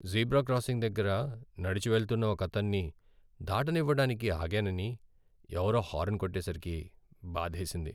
Zebra crossing దగ్గర నడిచి వెళ్తున్న ఒకతణ్ణి దాటనివ్వడానికి ఆగానని, ఎవరో హారన్ కొట్టేసరికి బాధేసింది.